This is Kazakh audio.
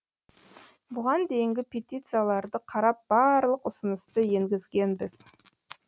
бұған дейінгі петицияларды қарап барлық ұсынысты енгізгенбіз